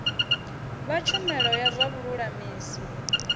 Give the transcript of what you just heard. vha tshumelo ya zwa vhululamisi